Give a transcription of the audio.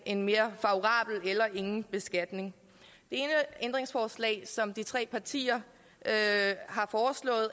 en mere favorabel eller ingen beskatning det ene ændringsforslag som de tre partier er på at